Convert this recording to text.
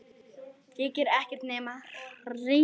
Hér gerir ekkert nema rigna.